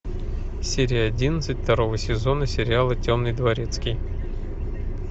серия одиннадцать второго сезона сериала темный дворецкий